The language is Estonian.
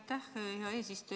Aitäh, hea eesistuja!